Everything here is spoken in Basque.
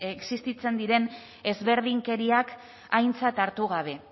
existitzen diren ezberdinkeriak aintzat hartu gabe